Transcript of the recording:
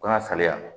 Ko n ka saliya